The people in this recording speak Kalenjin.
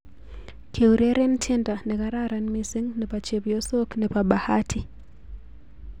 Keureren tiendo nekararan mising' nebo chepyosok nebo Bahati